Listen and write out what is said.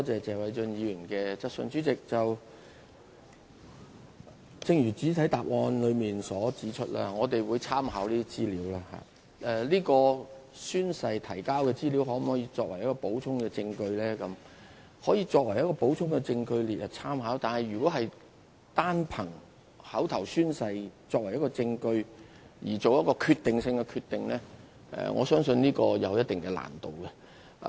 主席，正如我在主體答覆中指出，我們會參考這些資料，至於經宣誓所提交的資料可否作為補充證據這一點，我們可以把它列作參考的補充證據，但如果單憑口頭宣誓作為一項證據以作出決定性的決定，我相信會有一定難度。